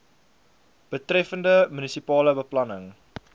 betreffende munisipale beplanning